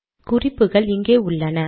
குறிப்புகள் இங்கே உள்ளன